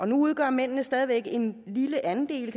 nu udgør mændene stadig væk sige en lille andel